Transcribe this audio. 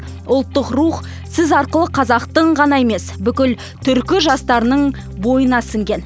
ұлттық рух сіз арқылы қазақтың ғана емес бүкіл түркі жастарының бойына сіңген